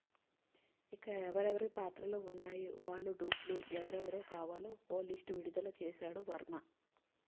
ఇక ఎవరెవరి పాత్రలు ఉన్నాయి వాళ్ళ డూప్ లు ఎవరెవరు కావాలో ఓ లిస్ట్ విడుదల చేసాడు వర్మ